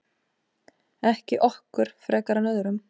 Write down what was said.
Ekki okkur frekar en öðrum.